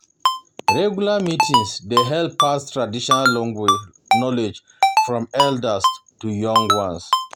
Regular meetings dey help pass traditional knowledge from elders to young ones.